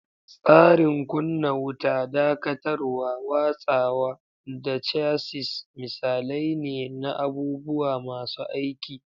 Tsarin kunna wuta, dakatarwa, watsawa, da chassis misalai ne na abubuwa masu aiki.